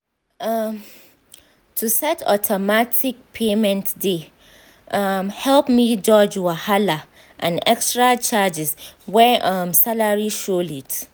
um to set automatic payment dey um help me dodge wahala and extra charges when um salary show late